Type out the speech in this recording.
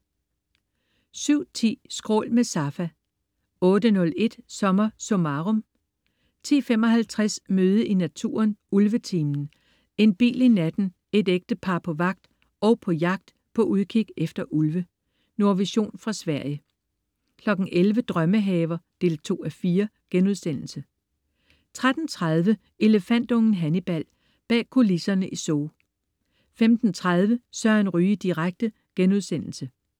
07.10 Skrål med Safa 08.01 SommerSummarum 10.55 Møde i naturen: Ulvetimen. En bil i natten, et ægtepar på vagt og på jagt, på udkig efter ulve. Nordvision fra Sverige 11.00 Drømmehaver 2:4* 13.30 Elefantungen Hannibal. Bag kulisserne i Zoo 15.30 Søren Ryge direkte*